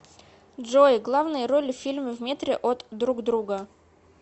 джой главные роли в фильме в метре от друг друга